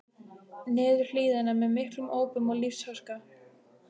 niður hlíðina með miklum ópum og lífsháska.